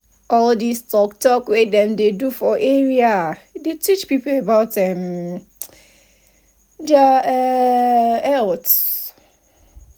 all this tok tok wey dem dey do for area dey teach people about um their um health.